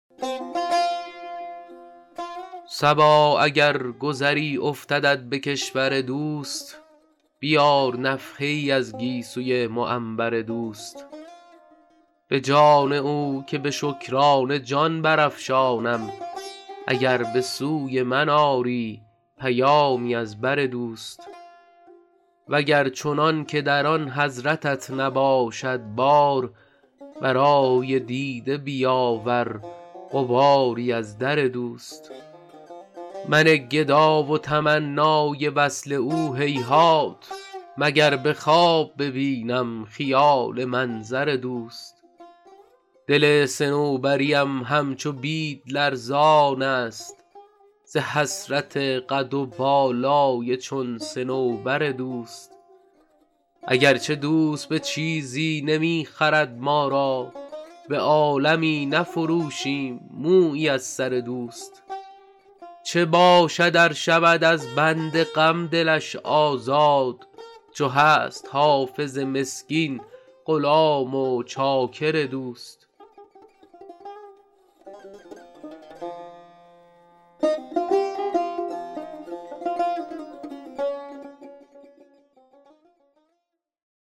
صبا اگر گذری افتدت به کشور دوست بیار نفحه ای از گیسوی معنبر دوست به جان او که به شکرانه جان برافشانم اگر به سوی من آری پیامی از بر دوست و گر چنان که در آن حضرتت نباشد بار برای دیده بیاور غباری از در دوست من گدا و تمنای وصل او هیهات مگر به خواب ببینم خیال منظر دوست دل صنوبری ام همچو بید لرزان است ز حسرت قد و بالای چون صنوبر دوست اگر چه دوست به چیزی نمی خرد ما را به عالمی نفروشیم مویی از سر دوست چه باشد ار شود از بند غم دلش آزاد چو هست حافظ مسکین غلام و چاکر دوست